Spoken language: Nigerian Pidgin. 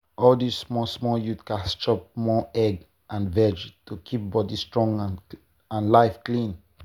all dis small small youths gats chop more egg and veg to keep body strong and life clean.